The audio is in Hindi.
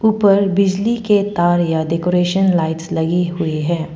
उपर बिजली के तार या डेकोरेशन लाइट्स लगी हुई है।